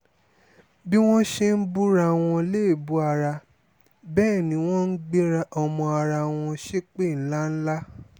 bí wọ́n ṣe ń búra wọn léébù ara bẹ́ẹ̀ ni wọ́n ń gbé ọmọ ará wọn ṣépè ńlá ńlá